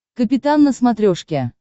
капитан на смотрешке